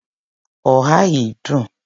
oha yìí dùn.